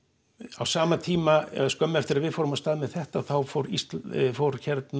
á sama tíma eða skömmu eftir að við fórum af stað með þetta þá fór íslenska fór